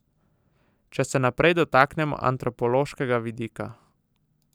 Če se najprej dotaknemo antropološkega vidika.